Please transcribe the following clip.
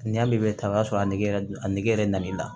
N'i y'a mɛn ta o y'a sɔrɔ a nege yɛrɛ a nege yɛrɛ nan'i la